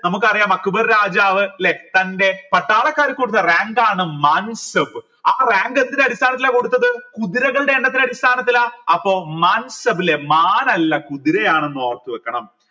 നമുക്കറിയാം അക്ബർ രാജാവ് ല്ലെ തൻറെ പട്ടാളക്കാർക്ക് കൊടുത്ത rank ആൺ മാൻ സബ് ആ rank എന്ത് അടിസ്ഥാനത്തില കൊടുത്തത് കുതിരകളുടെ എണ്ണത്തിന്റെ അടിസ്ഥാനത്തിലാ അപ്പൊ മാൻ സബ് മാൻ അല്ല കുതിരയാണെന്ന് ഓർത്തു വെക്കണം